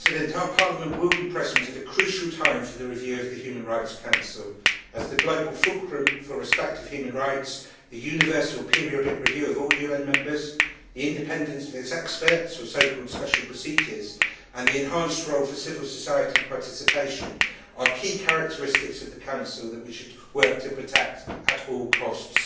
Our Parliament will be present at a crucial time for the review of the Human Rights Council, as the global fulcrum for respect of human rights, the universal periodic review of all UN members, the independence of its experts or so called special procedures, and the enhanced role for civil society participation. They are key characteristics of the Council that we should work to protect at all costs.